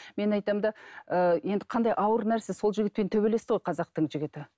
мен айтамын да ыыы енді қандай ауыр нәрсе сол жігітпен төбелесті ғой қазақтың жігіті